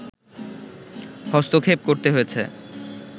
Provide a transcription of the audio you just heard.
হস্তক্ষেপ করতে হয়েছে